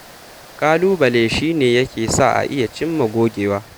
Ƙalubale shi ne yake sa a iya cin ma gogewa